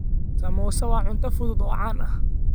Samosa waa cunto fudud oo caan ah.